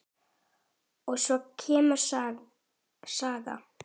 Og svo kemur saga